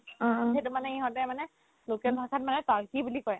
সেইটো মানে ইহঁতে মানে local ভাষাত মানে তাৰ্কি বুলি কয়